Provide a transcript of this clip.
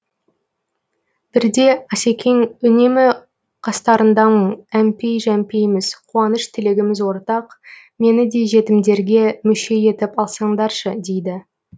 бірде асекең үнемі қастарыңдамын әмпей жәмпейміз қуаныш тілегіміз ортақ мені де жетімдерге мүше етіп алсаңдаршы дейді